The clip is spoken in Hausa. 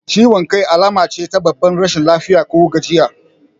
Ciwan kai alamace ta babbar rashin lafiya ko gajiya